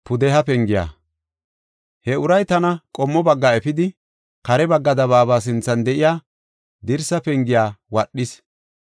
He uray tana qommo bagga efidi, kare bagga dabaaba sinthan de7iya dirsa pengiya wadhis.